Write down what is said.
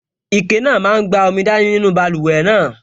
Ike náà máa n gba omi dání nínú báluwẹ̀ náà